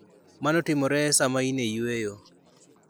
Mano timore sama in e yueyo.